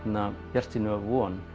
bjartsýni og von